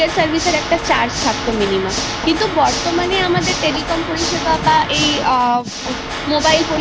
আমরা যখন পড়াশুনো করেছি তখন আমাদের অনেক বেশি Elaborately জিনিস পড়তে হতো এবং সেটাকে লিখতে হতো